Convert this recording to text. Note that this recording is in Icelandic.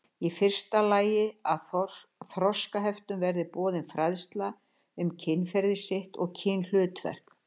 Í fyrsta lagi að þroskaheftum verði boðin fræðsla um kynferði sitt og kynhlutverk.